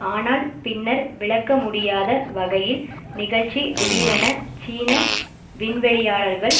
ஆனால் பின்னர் விளக்க முடியாத வகையில் நிகழ்ச்சி திடீரென சீன விண்வெளியாளர்கள்